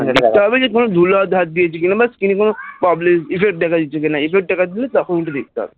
দেখতে হবে কোন ধুলো হাতে হাত দিয়েছে কিনা, Screen এ কোন problem বা effcet দেখা যাচ্ছে কিনা effect দেখা গেলেই তখন ওটা করতে হবে,